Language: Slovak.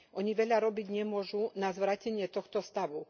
Oni veľa robiť nemôžu na zvrátenie tohto stavu.